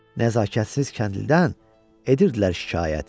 Nəzakətsiz kəndlidən edirdilər şikayət.